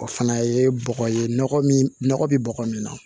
O fana ye bɔgɔ ye nɔgɔ min nɔgɔ bɛ bɔgɔ min na